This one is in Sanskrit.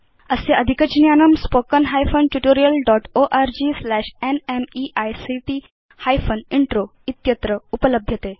अस्य अधिकज्ञानम् spoken hyphen tutorial dot org slash NMEICT hyphen intro इत्यत्र उपलभ्यते